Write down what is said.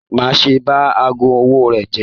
Má ṣe bá aago ọwọ rẹ jẹ!